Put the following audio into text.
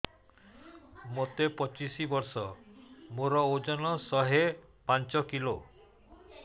ମୋତେ ପଚିଶି ବର୍ଷ ମୋର ଓଜନ ଶହେ ପାଞ୍ଚ କିଲୋ